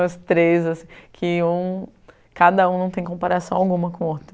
Os três assim, que um, cada um não tem comparação alguma com o outro.